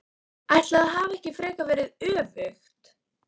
Ætli það hafi ekki frekar verið öfugt!